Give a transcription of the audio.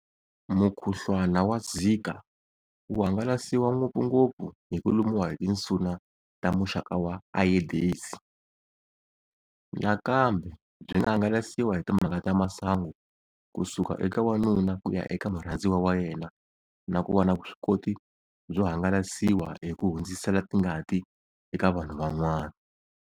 Mukhuhlwana wa Zika wu hangalasiwa ngopfungopfu hi ku lumiwa hi tinsuna ta"muxaka wa" Ayedesi. nakambe byi nga hangalasiwa hi timhaka ta masungu kusuka eka wanuna ku ya eka murhandziwa wa yena na ku va na vuswikoti byo hangalasiwa hi ku hundzisela tingati eka vanhu van'wana.